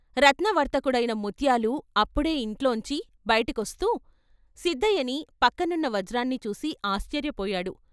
రత్న వర్తకుడైన ముత్యాలు అప్పుడే ఇంట్లోంచి బయటికొస్తూ సిద్దయ్యని, పక్కనున్న వజ్రాన్ని చూసి ఆశ్చర్యపోయాడు.